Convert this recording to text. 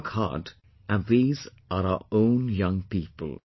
They work hard, and these are our own young people